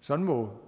sådan må